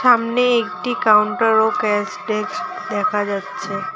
সামনে একটি কাউন্টার ও ক্যাশ ডেস্ক দেখা যাচ্ছে।